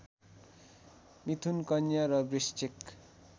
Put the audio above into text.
मिथुन कन्या र वृश्चिक